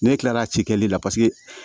Ne kilala a ci kɛli la paseke